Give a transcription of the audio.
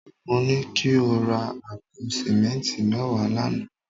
Mo ní kí o ra àpò sìmẹ́ǹtì mẹ́wàá lánàá